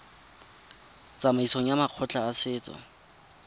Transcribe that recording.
tsamaisong ya makgotla a setso